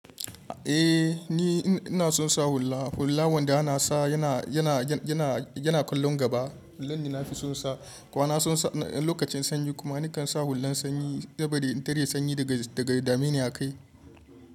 Eh ni ina son sa hula. Hula wanda ana sa yana, yana, yana, yana kallon gaba. Hular ne na fi son sa. Kuma na son sa lokacin sanyi kuma nakan sa hulan sanyi saboda in tare sanyi daga, daga dameni a kai.